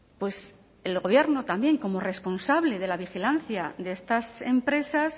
pues el gobierno también como responsable de la vigilancia de estas empresas